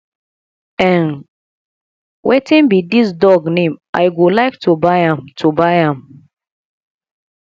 um wetin be dis dog name i go like to buy am to buy am